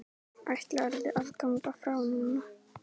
Er í tafli öflug næsta.